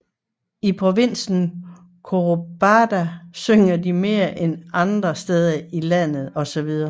I provinsen Córdoba synger de mere end i andre steder i landet osv